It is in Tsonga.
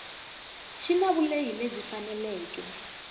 xi na vulehi lebyi faneleke